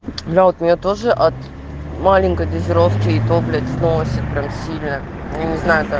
зовут меня тоже от маленькой дозировке это блять новости прям сильно мне